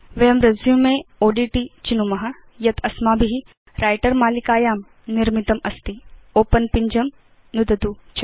वयं रेसुमेओड्ट चिनुम यत् अस्माभि व्रिटर मालिकायां निर्मितमस्ति ओपेन पिञ्जं नुदतु च